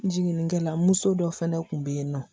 Jiginnikɛla muso dɔ fɛnɛ kun bɛ yen nɔ